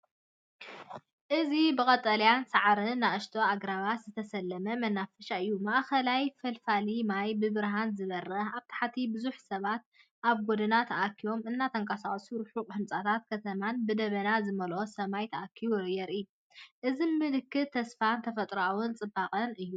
እዚ ብቀጠልያ ሳዕርን ንኣሽቱ ኣግራብን ዝተሰለመ መናፈሻ እዩ። ማእከላይ ፈልፋሊ ማይ ብብርሃን ዝበርህ። ኣብ ታሕቲ ብዙሓት ሰባት ኣብ ጐደና ተኣኪቦም እናተንቀሳቐሱ፡ ርሑቕ ህንጻታት ከተማን ብደበና ዝመልአ ሰማይን ተኣኪቦም የርኢ። እዚ ምልክት ተስፋን ተፈጥሮኣዊ ጽባቐን እዩ።